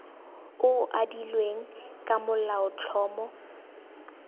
o o adilweng ka molaotlhomo